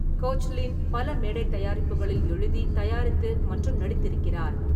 Koechlin பல மேடை தயாரிப்புகளில் எழுதி, தயாரித்து மற்றும் நடித்திருக்கிறார்.